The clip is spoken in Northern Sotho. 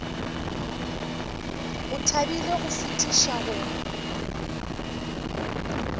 o thabile go fetiša go